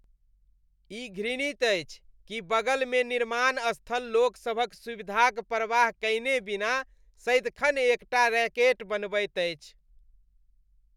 ई घृणित अछि कि बगलमे निर्माण स्थल लोकसभक सुविधाक परवाह कयने बिना सदिखन एक टा रैकेट बनबैत अछि।